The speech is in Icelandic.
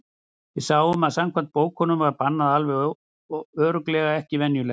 Við sáum að samkvæmt bókunum var barnið alveg örugglega ekki venjulegt.